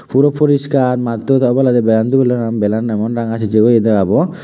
puro poriskar mattodi oboladi belan dubelloi belan emon ranga cikcik oaye debabow.